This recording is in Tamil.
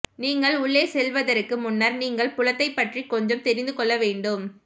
நீங்கள் உள்ளே செல்லுவதற்கு முன்னர் நீங்கள் புலத்தை பற்றி கொஞ்சம் தெரிந்து கொள்ள வேண்டும்